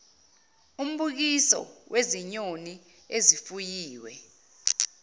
umbukiso wezinyoni ezifuyiwe